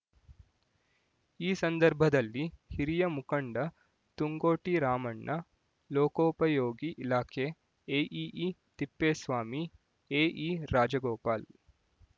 ಈ ಸಂದರ್ಭದಲ್ಲಿ ಹಿರಿಯ ಮುಖಂಡ ತುಂಗೋಟಿ ರಾಮಣ್ಣ ಲೋಕೋಪಯೋಗಿ ಇಲಾಖೆ ಎಇಇ ತಿಪ್ಪೇಸ್ವಾಮಿ ಎಇ ರಾಜಗೋಪಾಲ್